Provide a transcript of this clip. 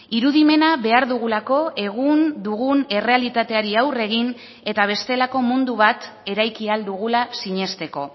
irudimena behar dugulako egun dugun errealitateari aurre egin eta bestelako mundu bat eraiki ahal dugula sinesteko